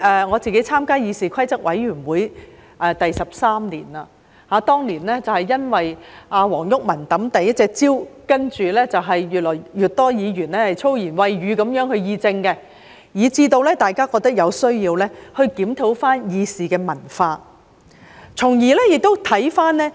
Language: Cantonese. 我參加議事規則委員會已經13年，當年是因為黃毓民擲出第一隻香蕉，接着越來越多議員以粗言穢語議政，以致大家覺得有需要檢討議事的文化。